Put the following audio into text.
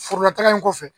Forolataga in kɔfɛ